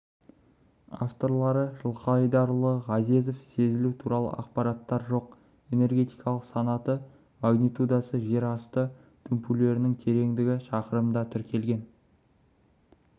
авторлары жылқайдарұлы ғазезов сезілу туралы ақпараттар жоқ энергетикалық санаты магнитудасы жер асты дүмпулерінің тереңдігі шақырымда тіркелген